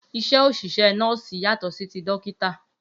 Iṣẹ́ oṣiṣẹ nọ́ọ́sì yàtọ̀ sí tí dókítà